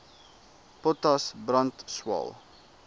potas brand swael